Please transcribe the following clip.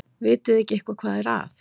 Vitiði eitthvað hvað er að?